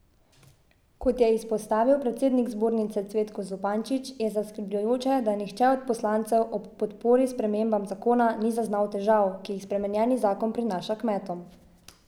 Kot je izpostavil predsednik zbornice Cvetko Zupančič, je zaskrbljujoče, da nihče od poslancev ob podpori spremembam zakona ni zaznal težav, ki jih spremenjeni zakon prinaša kmetom.